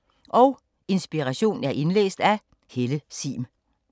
Indlæst af: